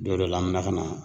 Don dɔ la an bɛ na ka na